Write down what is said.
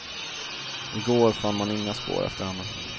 I går fann man inga spår efter henne.